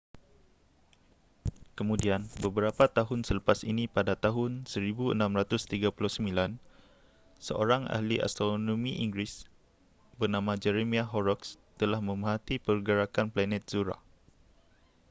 kemudian beberapa tahun selepas ini pada tahun 1639 seorang ahli astronomi inggeris bernama jeremiah horrocks telah memerhati pergerakan planet zuhrah